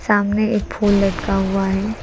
सामने एक फुल लटका हुआ है।